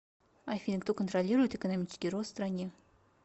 афина кто контролирует экономический рост в стране